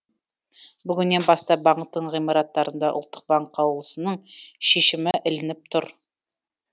бүгіннен бастап банктің ғимараттарында ұлттық банк қаулысының шешімі ілініп тұр